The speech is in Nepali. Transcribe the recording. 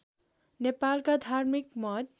नेपालका धार्मिक मत